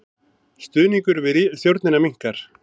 Stuðningur við stjórnina minnkar